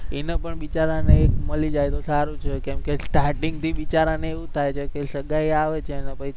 એનો પણ બિચારાને એક મળી જાય તો સારું છે કેમકે starting થી બિચારાને એવું થાય છે કે સગાઇ આવે છે ને કઈ